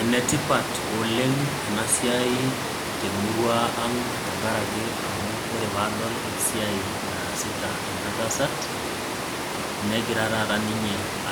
Ene tipa oleng' ena siai te emurua ang' tenkaraki amu ore pee adol esiai naasita ena tasat, negira taata